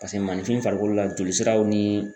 Pase mananinfin farikolo la jolisiraw ni